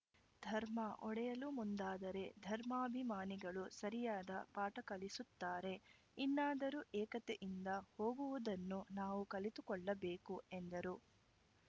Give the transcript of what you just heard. ಧರ್ಮ ಒಡೆಯಲು ಮುಂದಾದರೆ ಧರ್ಮಾಭಿಮಾನಿಗಳು ಸರಿಯಾದ ಪಾಠ ಕಲಿಸುತ್ತಾರೆ ಇನ್ನಾದರೂ ಏಕತೆಯಿಂದ ಹೋಗುವುದನ್ನು ನಾವು ಕಲಿತುಕೊಳ್ಳಬೇಕು ಎಂದರು